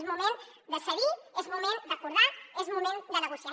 és moment de cedir és moment d’acordar és moment de negociar